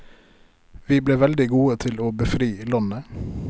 Vi ble veldig gode til å befri landet.